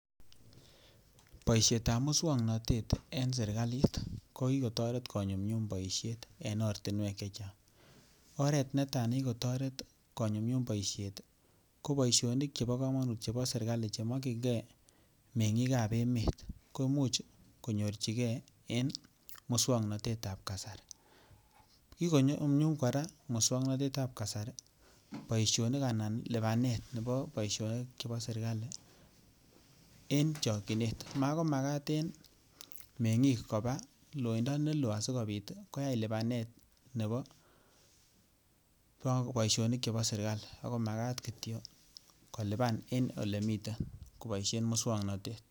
Boishet ab muswognotet en serikalit kokigotoret konyumnyum boishet en oritnwek chechang, oret ne taa nekikotoret konyumnyum boishet ii ko boishonik chebo komonut chebo serikali che mokiygee mengikik ab emet koimuch konyorchigee muswongnotet ab kasarii. Kigonyumnyum koraa muswongnotet ab kasarii boishonik ana libanet nebo boishonik chebo serikali en chokyinet mako makat en mengikik kobaa loindo neloo asikopit koyaa lipanet nebo boishinik chebo serikali ako makat kityo kolipan en olemiten koboishen muswongnotet